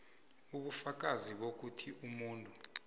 ubufakazi bokuthi umuntu